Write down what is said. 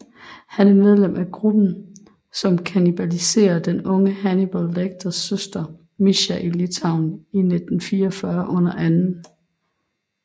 Han er medlem af gruppen som kannibaliserer den unge Hannibal Lecters søster Mischa i Litauen i 1944 under 2